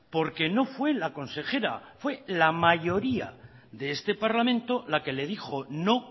porque no fue la consejera fue la mayoría de este parlamento la que le dijo no